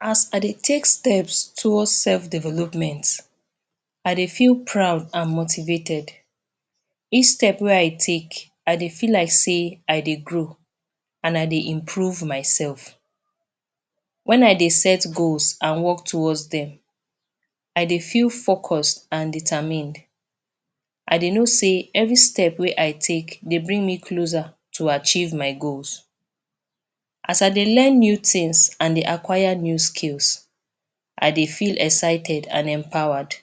As I dey take steps towards self development I dey feel proud and motivated each step wey I take I dey feel like say I dey grow and I dey improve myself when I dey set goals and work towards dem. I dey feel focused and determined dey know say every step wey I take dey bring me closer to achieve my goals as I dey learn new things and dey acquire new skills I dey feel excited and empowered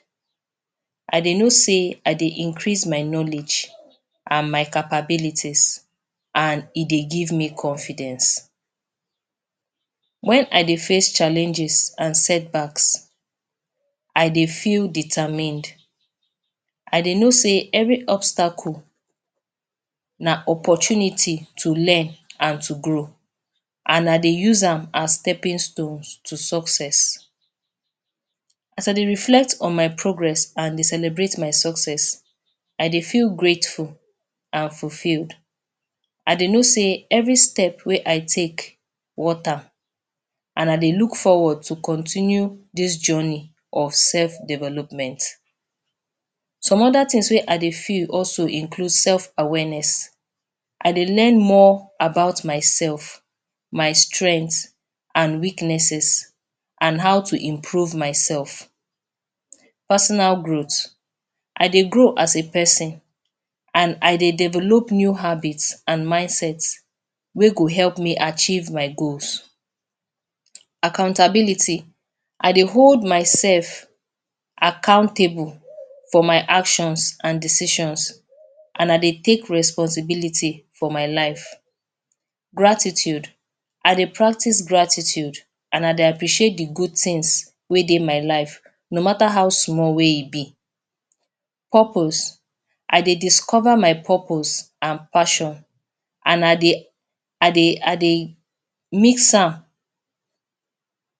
I dey know say I dey increase my knowledge and my capabilities and e dey give me confidence when I dey face challenges and setbacks I dey feel determined I dey know say every obstacle na opportunity to learn and to grow and I dey use am as stepping stones to success as I dey reflect on my progress and dey celebrate my success I dey feel grateful and fulfilled I dey know say every step wey I take worth am and I dey look forward to continue this journey of self development some other things wey I dey feel also include self awareness I dey learn more about myself my strength and weaknesses and how to improve myself personal growth. I dey grow as a person and I dey develop new habits and mindset wey go help me achieve my goals. Accountability: I dey hold myself accountable for my actions and decisions and I dey take responsibility for my life gratitude I dey practice gratitude and I dey appreciate de good things wey dey my life- no mata how small wey e be. purpose I dey discover my purpose and passion and I dey I dey I dey fix am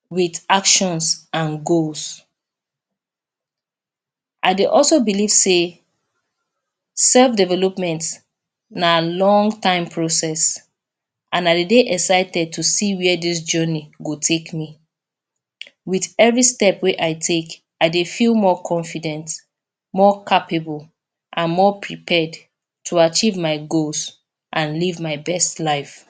with actions and goal. I dey also believe sey self development na long time process and I dey dey excited to see where this journey go take me with every step wey I take, I dey feel more confident more capable and more prepared to achieve my goals and to live my best life.